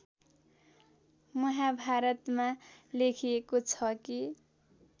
महाभारतमा लेखिएको छ कि